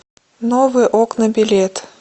новые окна билет